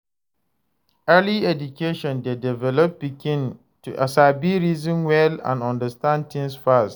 Early education de develop pikin mind to sabi reason well and understand things fast